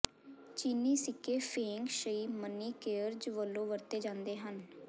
ਚੀਨੀ ਸਿੱਕੇ feng shui money cares ਵਜੋਂ ਵਰਤੇ ਜਾਂਦੇ ਹਨ